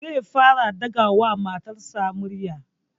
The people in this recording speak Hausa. Zai fara ɗaga wa matarsa murya